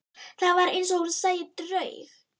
Það var eins og hún sæi draug.